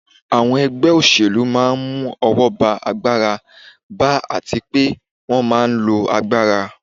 Àwọn ẹgbẹ́ òṣèlú máa n mú ọwọ́ ba agbára ba àti pé wọ́n máa n lo agbára